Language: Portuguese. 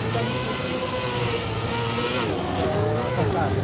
Então eu perdi essa batalha.